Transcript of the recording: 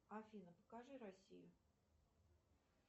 афина покажи россию